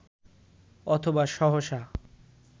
অথবা সহসা